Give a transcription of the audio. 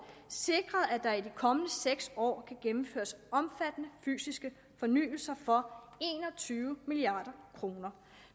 sikret at der i de kommende seks år kan gennemføres omfattende fysiske fornyelser for en og tyve milliard kroner